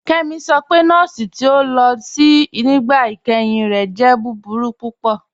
Kemí sọ pé nọ̀ọ̀sì ti o lo sí nígbà ìkẹ́hìn rẹ̀ jẹ̀ búburú púpọ̀.